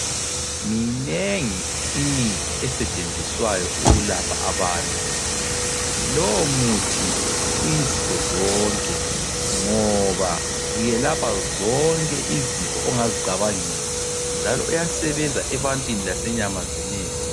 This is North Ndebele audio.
Minengi imithi esetshenziswayo ukulapha abantu lowu muthi uyizifozonke ngoba uyelapha zonke izifo ongazicabangela njalo uyasebenza ebantwini lasenyamazaneni.